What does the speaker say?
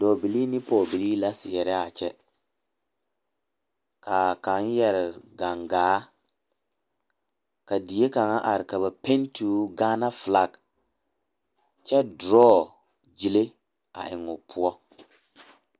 Dɔɔbilii ne pɔgebilii la seɛrɛ a kyɛ ka a kaŋ yɛre gaŋgaa ka die kaŋa are ka ba pɛnte o Gaana filaki kyɛ duroo gyile eŋ o poɔ.